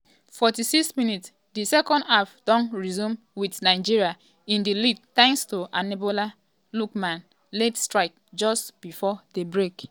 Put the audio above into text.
46 mins - di second half don resume wit nigeria in di lead thanks to ademola lookman um um late strike just um before di break.